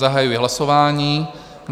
Zahajuji hlasování.